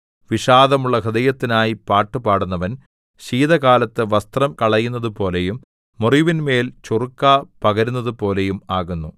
വിഷാദമുള്ള ഹൃദയത്തിനായി പാട്ടു പാടുന്നവൻ ശീതകാലത്ത് വസ്ത്രം കളയുന്നതുപോലെയും മുറിവിന്മേല്‍ ചൊറുക്ക പകരുന്നതുപോലെയും ആകുന്നു